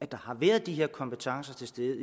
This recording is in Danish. der har været de her kompetencer til stede